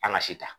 An ka si ta